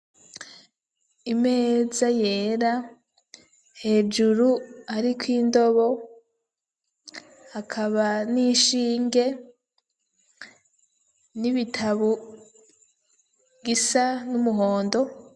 Imeza yera, hejuru hariko indobo, hakaba n'ishinge ,n'ibitabu gisa n'umuhondo